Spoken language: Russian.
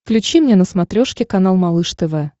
включи мне на смотрешке канал малыш тв